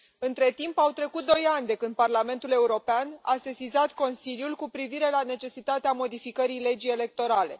Între timp, au trecut doi ani de când Parlamentul European a sesizat Consiliul cu privire la necesitatea modificării legii electorale.